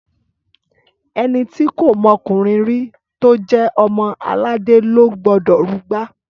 Ẹni ti kọ mọkúnrìn ri, tọ jẹ ọmọ àlàdẹ lọ gbọdọ rúgbà!